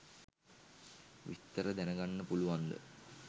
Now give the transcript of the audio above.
විස්තර දැනගන්න පුලුවන්ද